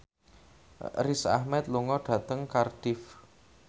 Riz Ahmed lunga dhateng Cardiff